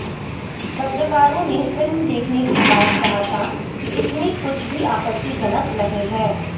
पत्रकारों ने फिल्म देखने के बाद कहा था कि इसमें कुछ भी आपत्तिजनक नहीं है